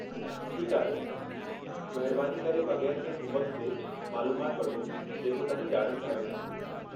ठीकु आहे, महिरबानी करे बगै़रु कंहिं हुब॒क जे मालूमाति वठो जेको तव्हीं ॼाणणु चाहियो था।